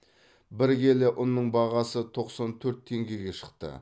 бір келі ұнның бағасы тоқсан төрт теңгеге шықты